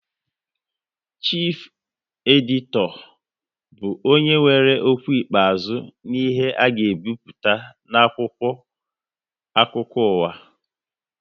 Chifu editọ bụ onye nwe okwu ikpeazụ n'ihe a ga ebipụta n'akwụkwọ akụkọ uwa